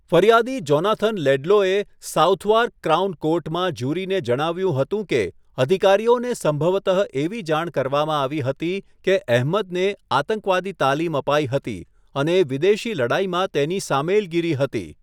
ફરિયાદી જોનાથન લેડલોએ Southwark crown કોર્ટમાં જ્યુરીને જણાવ્યું હતું કે અધિકારીઓને સંભવતઃ એવી જાણ કરવામાં આવી હતી કે અહમદને આતંકવાદી તાલીમ અપાઈ હતી અને વિદેશી લડાઈમાં તેની સામેલગીરી હતી.